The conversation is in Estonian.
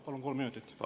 Palun kolm minutit!